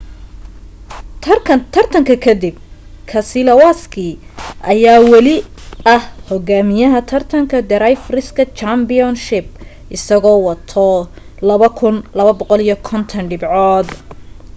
tartanka ka dib keselowski ayaa wali ah hogaamiyaha taratanka drivers' championship isagoo wato 2,250 dhibcood